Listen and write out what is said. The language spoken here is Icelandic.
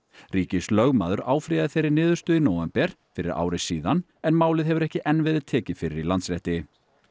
ríkislögmaður áfrýjaði þeirri niðurstöðu í nóvember fyrir ári síðan en málið hefur ekki enn verið tekið fyrir í Landsrétti